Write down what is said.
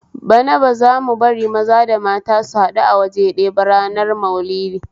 Bana ba zamu bari maza da mata su haɗu awaje ɗaya ba ranar Maulidi